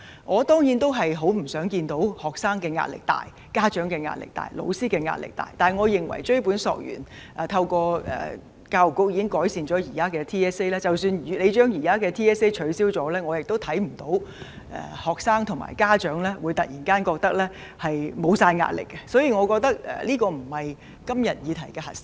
我當然不願看到學生壓力大、家長壓力大、老師壓力大，但追本索源，透過教育局的工作，現時的全港性系統評估已經改善，而即使取消了現時的 TSA， 我亦看不見學生及家長會突然覺得沒有壓力，所以我覺得這不是今天這個議題的核心。